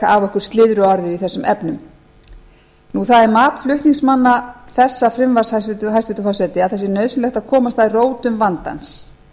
af okkur slyðruorðið í þessum efnum það er mat flutningsmanna þessa frumvarps hæstvirtur forseti að það sé nauðsynlegt að komast að rótum vandans